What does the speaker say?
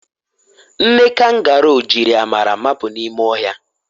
Nne kangoro jiri amara mapụ n'ime ọhịa